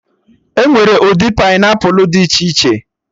Enwere ụdị painiapụlụ dị iche iche